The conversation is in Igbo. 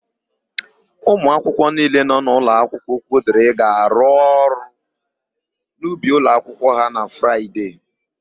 Ụmụakwụkwọ niile nọ n'ụlọakwụkwọ Okwudịrị ga-arụ ọrụ n'ubi ụlọakwụkwọ ha na Fraịde.